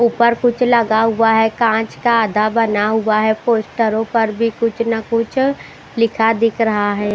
ऊपर कुछ लगा हुआ है कांच का आधा बना हुआ है पोस्टरों पर भी कुछ ना कुछ लिखा दिख रहा है।